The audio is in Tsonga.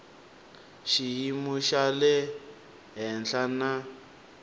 xiyimo xa le henhla na